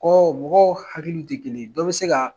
Ko mɔgɔw hakili tɛ kelen ye dɔ bɛ se ka